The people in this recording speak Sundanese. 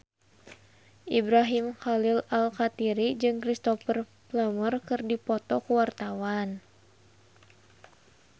Ibrahim Khalil Alkatiri jeung Cristhoper Plumer keur dipoto ku wartawan